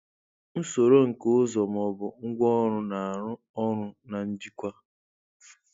Usoro nke ụzọ ma ọ bụ ngwaọrụ na-arụ ọrụ na njikwa.